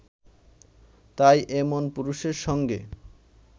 তাই এমন পুরুষের সঙ্গে